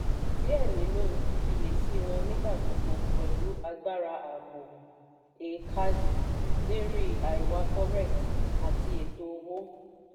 díẹ̀ nínú ìfiyèsí wọ́n nígbà gbogbo pẹlú agbára ààbò eekaderi àìwá forex àti ètò owó.